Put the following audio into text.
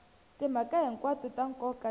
timhaka hinkwato ta nkoka ti